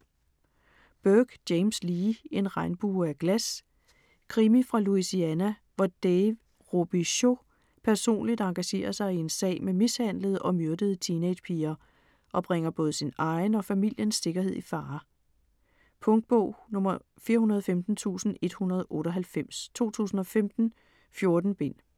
Burke, James Lee: En regnbue af glas Krimi fra Louisiana, hvor Dave Robicheaux personligt engagerer sig i en sag med mishandlede og myrdede teenage-piger og bringer både sin egen og familiens sikkerhed i fare. Punktbog 415198 2015. 14 bind.